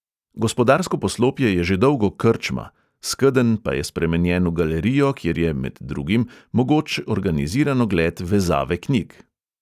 Gospodarsko poslopje je že dolgo krčma, skedenj pa je spremenjen v galerijo, kjer je, med drugim, mogoč organiziran ogled vezave knjig.